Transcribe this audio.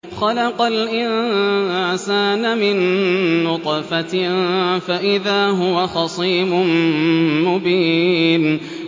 خَلَقَ الْإِنسَانَ مِن نُّطْفَةٍ فَإِذَا هُوَ خَصِيمٌ مُّبِينٌ